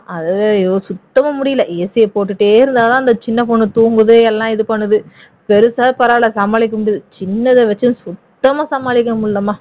அது வேற ஐயோ சுத்தமா முடியல AC யை போட்டுட்டே இருந்தா தான் அந்த சின்ன பொண்ணு தூங்குது எல்லாம் இது பண்ணுது பெருசாவது பரவாயில்லை சமாளிக்க முடியுது சின்னது வச்சு சுத்தமா சமாளிக்க முடியலம்மா